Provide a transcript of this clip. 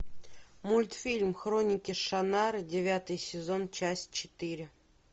мультфильм хроники шаннары девятый сезон часть четыре